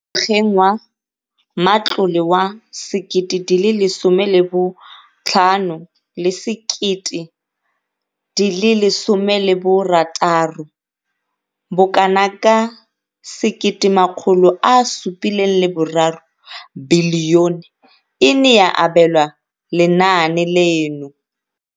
Ngwageng wa matlole wa 1015, 16, bokanaka R1 703 bilione e ne ya abelwa lenaane leno.